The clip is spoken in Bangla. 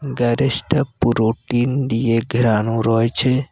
গ্যারেজটা পুরো টিন দিয়ে ঘেরানো রয়েছে।